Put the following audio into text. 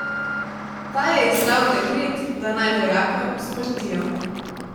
Ta je izdal dekret, da naj vojaka usmrtijo.